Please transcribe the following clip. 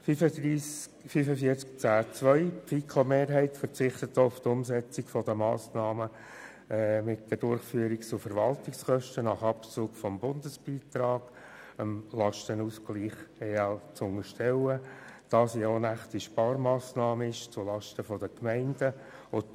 Zur Massnahme 45.10.2: Die FiKo-Mehrheit verzichtet auch auf die Umsetzung der Massnahme, die Durchführungs- und Verwaltungskosten nach Abzug des Bundesbeitrags dem Lastenausgleich der EL zu unterstellen, da es eine unechte Sparmassnahme zulasten der Gemeinden ist.